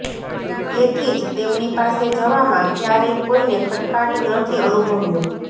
તેથી જ તેમની પાસે જવામાં ક્યારેય કોઈએ ખચકાટ નથી અનુભવ્યો